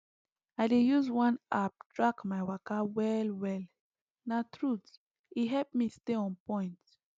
i dey use one app track my waka well well na truth e help me stay on point